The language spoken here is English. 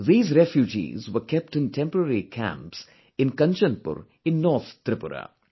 These refugees were kept in temporary camps in Kanchanpur in North Tripura